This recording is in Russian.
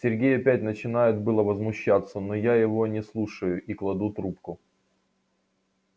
сергей опять начинает было возмущаться но я его не слушаю и кладу трубку